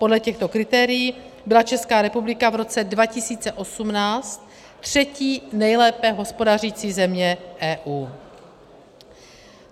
Podle těchto kritérií byla Česká republika v roce 2018 třetí nejlépe hospodařící zemí EU.